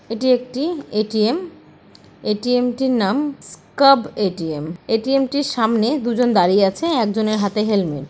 এটি একটি ATM. ATM টির নাম স্কাব এ_টি_এম । এ_টি_এম টির সামনে দুজন দাঁড়িয়ে আছে একজনের হাতে হেলমেট ।